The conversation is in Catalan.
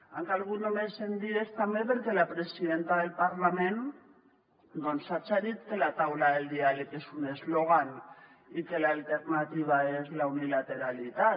han calgut només cent dies també perquè la presidenta del parlament haja dit que la taula del diàleg és un eslògan i que l’alternativa és la unilateralitat